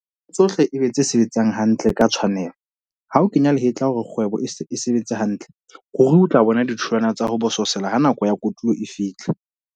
Ntho tsohle e be tse sebetsang hantle ka tshwanelo. Ha o kenya lehetla hore kgwebo e sebetse hantle, ruri o tla bona ditholwana tsa ho bosesela ha nako ya kotulo e fihla.